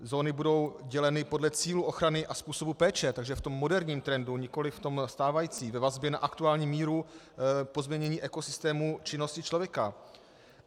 Zóny budou děleny podle cílů ochrany a způsobu péče, takže v tom moderním trendu, nikoliv v tom stávajícím, ve vazbě na aktuální míru pozměnění ekosystému činnosti člověka.